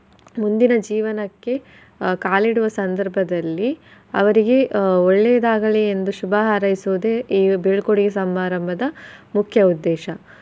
ಮುಂದಿನ ಜೀವನಕ್ಕೆ ಕಾಲಿಡುವ ಸಂದರ್ಭದಲ್ಲಿ ಅವರಿಗೆ ಒಳ್ಳೆಯದಾಗಲಿ ಆಹ್ ಎಂದು ಶುಭ ಹಾರೈಸುವುದೇ ಈ ಬೀಳ್ಕೊಡುಗೆ ಸಮಾರಂಭದ ಮುಖ್ಯ ಉದ್ದೇಶ.